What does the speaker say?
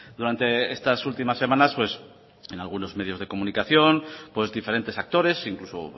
durante estas últimas semanas en algunos medios de comunicación diferentes actores incluso